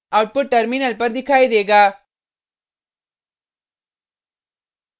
output terminal पर दिखाई देगा